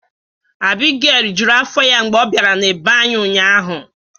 Abigail rijuru afọ ya mgbe ọ bịara na bee anyị ụnyaahụ.